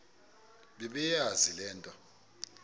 bebeyazi le nto